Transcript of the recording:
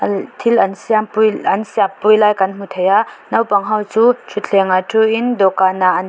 thil an siam pui an siam pui lai kan hmu thei a naupang ho chu thluthleng ah thu in dawhkan ah an thil--